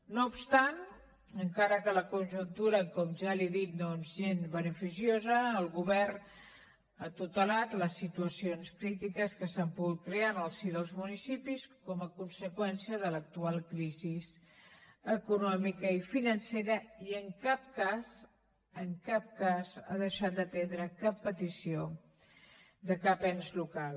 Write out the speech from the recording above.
no obstant encara que la conjuntura com ja li he dit no és gens beneficiosa el govern ha tutelat les situacions crítiques que s’han pogut crear en el si dels municipis com a conseqüència de l’actual crisi econòmica i financera i en cap cas en cap cas ha deixat d’atendre cap petició de cap ens local